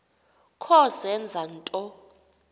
kho zenza nto